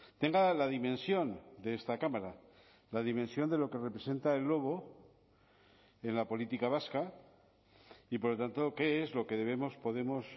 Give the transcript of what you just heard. tenga la dimensión de esta cámara la dimensión de lo que representa el lobo en la política vasca y por lo tanto qué es lo que debemos podemos